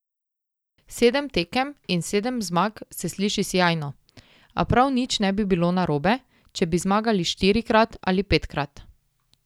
Sedem tekem in sedem zmag se sliši sijajno, a prav nič ne bi bilo narobe, če bi zmagali štirikrat ali petkrat.